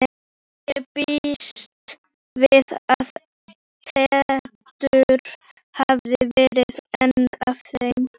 Ég býst við að Teitur hafi verið einn af þeim.